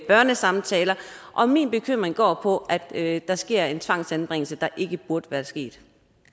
børnesamtaler og min bekymring går på at der sker en tvangsanbringelse der ikke burde være sket